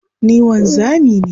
Ni wanzami ne.